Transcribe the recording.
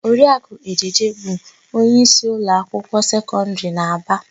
Oriakụ Ejeje bụ onyeísí ụlọakwụkwọ sekọndịrị n'Aba.